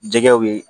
Jɛgɛw ye